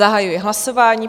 Zahajuji hlasování.